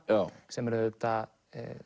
sem eru auðvitað